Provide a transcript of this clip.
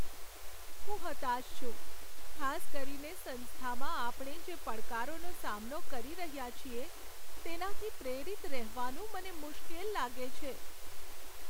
હું હતાશ છું, ખાસ કરીને સંસ્થામાં આપણે જે પડકારોનો સામનો કરી રહ્યા છીએ, તેનાથી પ્રેરિત રહેવાનું મને મુશ્કેલ લાગે છે.